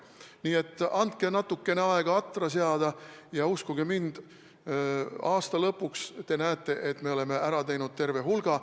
Nii et andke natukene aega atra seada ja uskuge mind, aasta lõpus te näete, et me oleme neist asjadest ära teinud terve hulga.